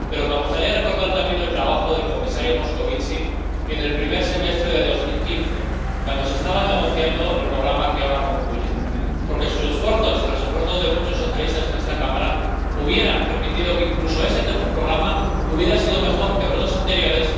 Pero me gustaría recordar también el trabajo del comisario Moscovici en el primer semestre de 2015, cuando se estaba negociando el programa que ahora concluye, porque sus esfuerzos y los esfuerzos de muchos socialistas en esta Cámara hubieran permitido que incluso ese tercer programa hubiera sido mejor que los dos anteriores.